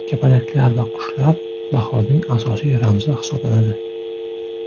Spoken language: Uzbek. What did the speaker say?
Kapalaklar va qushlar bahorning asosiy ramzi hisoblanadi.